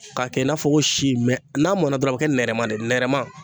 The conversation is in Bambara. K'a kɛ i n'a fɔ ko si mɛ n'a mɔna dɔrɔn a be kɛ nɛrɛman de ye nɛrɛman